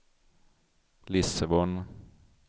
Lissabon